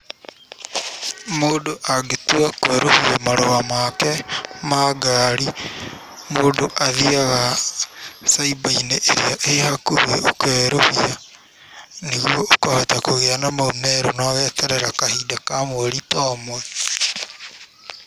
Mũndũ angĩtua kũerũhia marũa make ma ngari mũndũ athiaga cyber inĩ ĩrĩa ĩĩ hakũhĩ ũkerũhia. Nĩ ũkũhota kũgĩa na mau merũ na ũgeterera kahinda ka mweri ta ũmwe.